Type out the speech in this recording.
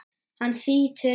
Hann þýtur inn.